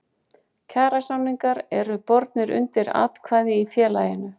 Kjarasamningar eru bornir undir atkvæði í félaginu.